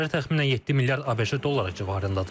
Zərər təxminən 7 milyard ABŞ dolları civarındadır.